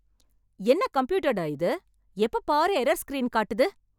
என்ன கம்ப்யூட்டர் டா இது, எப்ப பாரு எரர் ஸ்கிரீன் காட்டுது.